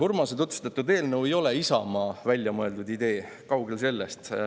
Urmase tutvustatud eelnõu ei ole Isamaa väljamõeldud idee, kaugel sellest.